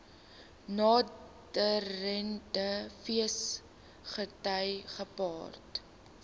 naderende feesgety gepaard